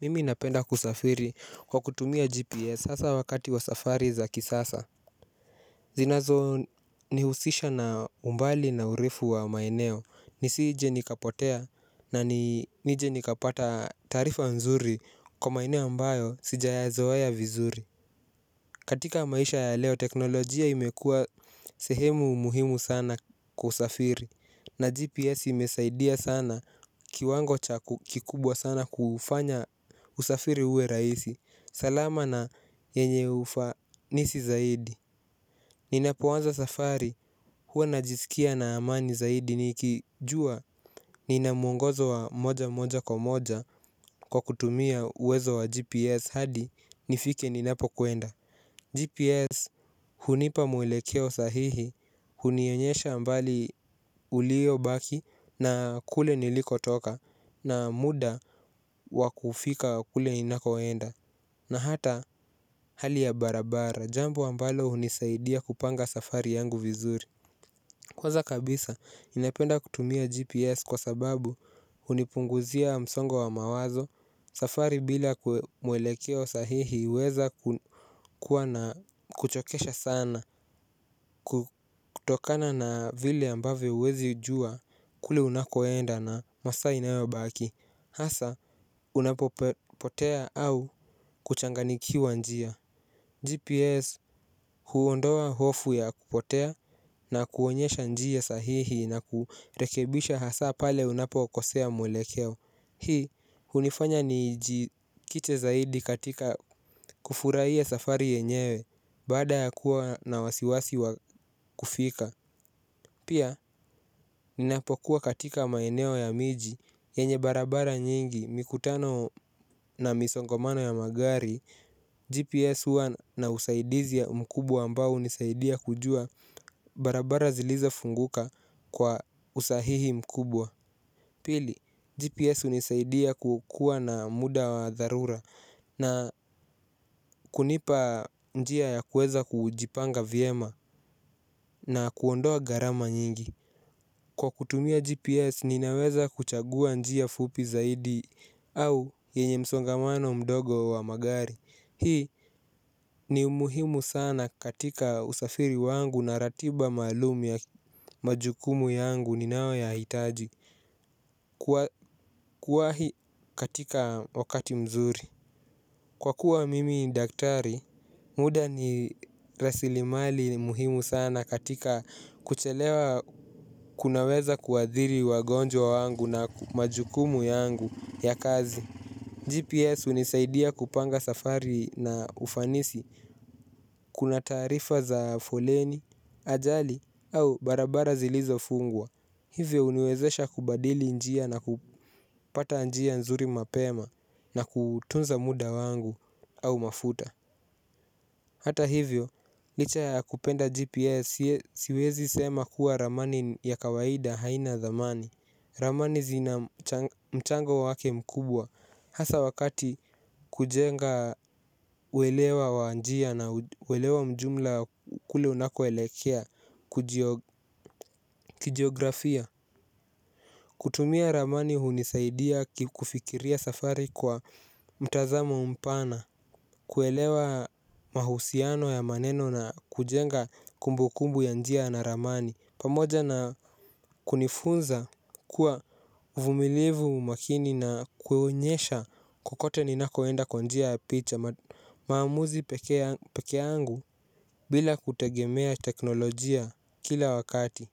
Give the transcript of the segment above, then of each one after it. Mimi napenda kusafiri kwa kutumia GPS sasa wakati wa safari za kisasa. Zinazo nihusisha na umbali na urefu wa maieeo nisije nikapotea na nije nikapata tarifa nzuri kwa maeneo ambayo sijayazoeya vizuri. Katika maisha ya leo teknolojia imekua sehemu muhimu sana kusafiri. Na GPS imesaidia sana kiwango chaku kikubwa sana kufanya usafiri uwe raisi salama na yenye ufanisi zaidi. Ninapoanza safari huwa najisikia na amani zaidi nikijua ninamuongozo wa moja moja kwa moja kwa kutumia uwezo wa GPS hadi nifike ninapo kuenda GPS hunipa mwelekeo sahihi hunionyesha mbali ulio baki na kule niliko toka na muda wakufika kule ninakoenda na hata hali ya barabara jambo ambalo hunisaidia kupanga safari yangu vizuri. Kwanza kabisa ninapenda kutumia GPS kwa sababu unipunguzia msongo wa mawazo. Safari bila mwelekeo wa sahihi uweza kuwa na kuchokesha sana. Kutokana na vile ambavo uwezi jua kule unakoenda na masa inaeobaki hasa unapotea au kuchanganikiwa njia GPS huondoa hofu ya kupotea na kuonyesha njiya sahihi na kurekebisha hasa pale unapo kosea mwelekeo. Hii unifanya nijikite zaidi katika kufuraiye safari yenyewe bada ya kuwa na wasiwasi wa kufika. Pia, ninapokuwa katika maeneo ya miji, yenye barabara nyingi, mikutano na misongomano ya magari, GPS uwa na usaidizi ya mkubwa ambao nisaidia kujua barabara zilizofunguka kwa usahihi mkubwa. Pili, GPS unisaidia kukua na muda wa dharura na kunipa njia ya kueza kujipanga viema na kuondoa garama nyingi. Kwa kutumia GPS ninaweza kuchagua njia fupi zaidi au yenye msongamano mdogo wa magari. Hii ni muhimu sana katika usafiri wangu na ratiba malumu ya majukumu yangu ninawa yo hitaji kuwahi katika wakati mzuri. Kwa kuwa mimi ni daktari, muda ni rasilimali muhimu sana katika kuchelewa kunaweza kuadhiri wagonjwa wangu na majukumu yangu ya kazi. GPS unisaidia kupanga safari na ufanisi, kuna tarifa za foleni, ajali au barabara zilizo fungwa. Hivyo uniwezesha kubadili njia na kupata njia nzuri mapema na kutunza muda wangu au mafuta. Hata hivyo, licha ya kupenda GPS siwezi sema kuwa ramani ya kawaida haina damani. Ramani zina mchango wake mkubwa hasa wakati kujenga uelewa wa njia na uelewa mjumla kule unakoelekea kujioografia kutumia ramani hunisaidia kikufikiria safari kwa mtazamo mpana. Kuelewa mahusiano ya maneno na kujenga kumbu kumbu ya njia na ramani. Pamoja na kunifunza kuwa uvumilivu makini na kueonyesha kokote ninakoenda kwa njia picha. Maamuzi peke angu bila kutegemea teknolojia kila wakati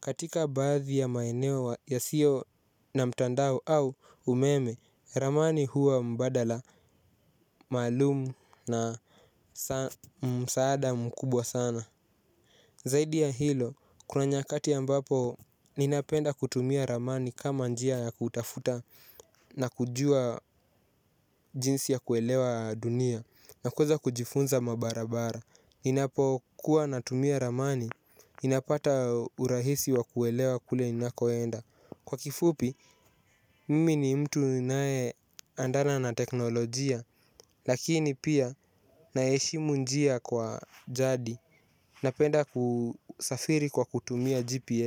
katika bathi ya maenewo yasio na mtandao au umeme ramani huwa mbadala malumu na msaada mkubwa sana. Zaidi ya hilo, kuna nyakati ambapo ninapenda kutumia ramani kama njia ya kutafuta na kujua jinsi ya kuelewa dunia na kueza kujifunza mabarabara, ninapokuwa natumia ramani, ninapata urahisi wa kuelewa kule inakoenda. Kwa kifupi mimi ni mtu nae andana na teknolojia lakini pia naeshimu njia kwa jadi na penda kusafiri kwa kutumia GPS.